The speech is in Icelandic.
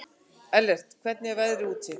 Ellert, hvernig er veðrið úti?